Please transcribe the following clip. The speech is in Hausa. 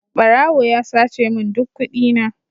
Barawo ya sace min duk kudina.